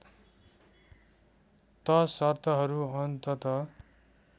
त शर्तहरू अन्ततः